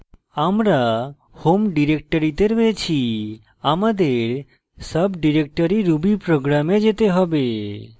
আমরা home ডিরেক্টরিতে রয়েছি আমাদের সাবdirectory rubyprogram we যেতে হবে